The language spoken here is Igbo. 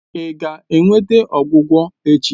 Ị ga-enweta ọgwụgwọ echi?